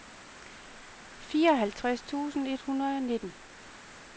fireoghalvtreds tusind et hundrede og nitten